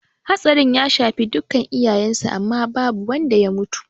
Hatsarin ya shafi dukka iyalen sa amma ba wadda ya mutu